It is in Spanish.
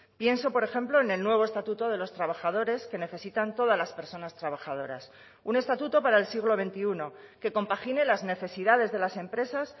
pienso por ejemplo en el nuevo estatuto de los trabajadores que necesitan todas las personas trabajadoras un estatuto para el siglo veintiuno que compagine las necesidades de las empresas